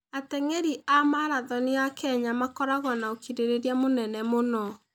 Ateng'eri a marathoni a Kenya makoragwo na ũkirĩrĩria mũnene mũno.